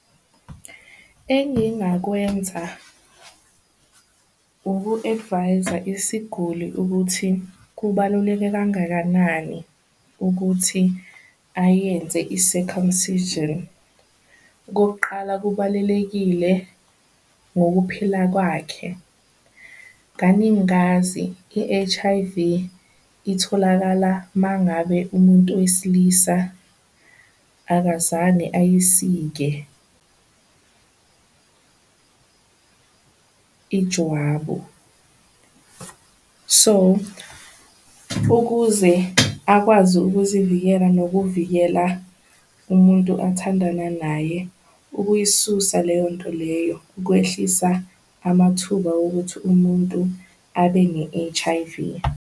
Engingakwenza uku-advise-a isiguli ukuthi kubaluleke kangakanani ukuthi ayenze i-circumcision. Okokuqala kubalulekile ngokuphila kwakhe ngazi i-H_I_V itholakala mangabe umuntu wesilisa akazange ayisike ijwabu. So, ukuze akwazi ukuzivikela nokuvikela umuntu athandana naye ukuyisusa leyo nto leyo kwehlisa amathuba okuthi umuntu abe ne-H_I_V.